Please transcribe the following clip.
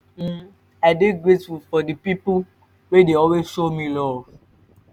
um i dey grateful for di pipo wey dey always show me luv